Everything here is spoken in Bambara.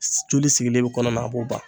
Joli sigilen be kɔnɔ a b'o ban